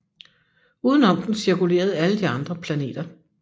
Uden om den cirkulerede alle de andre planeter